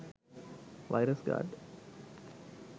virus guard